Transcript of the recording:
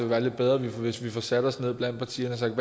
være lidt bedre hvis vi satte os ned og blandt partierne talte